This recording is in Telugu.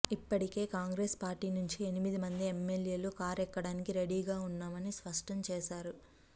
ఇప్పటికే కాంగ్రెస్ పార్టీ నుంచి ఎనిమిది మంది ఎమ్మెల్యేలు కారు ఎక్కడానికి రెడీగా ఉన్నామని స్పష్టం చేసారు